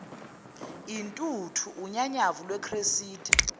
intuthu unyanyavu lwecressida